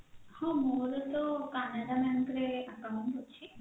ହଁ ମୋର ତ canara bank ରେ account ଅଛି